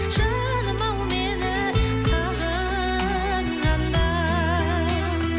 жаным ау мені сағынғанда